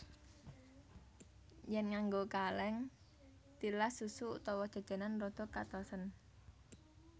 Yèn nganggo kalèng tilas susu utawa jajanan rada katosen